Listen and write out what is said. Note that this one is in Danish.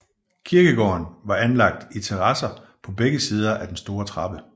Kirkegården var anlagt i terrasser på begge sider af en stor trappe